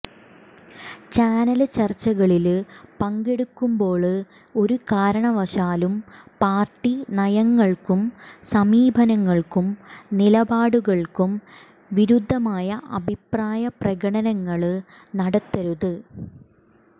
channel ചര്ച്ചകളില് പങ്കെടുക്കുമ്പോള് ഒരു കാരണവശാലും പാര്ട്ടി നയങ്ങള്ക്കും സമീപനങ്ങള്ക്കും നിലപാടുകള്ക്കും വിരുദ്ധമായ അഭിപ്രായ പ്രകടനങ്ങള് നടത്തരുത്